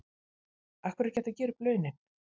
Af hverju er ekki hægt að gera upp launin?